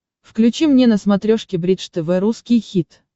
включи мне на смотрешке бридж тв русский хит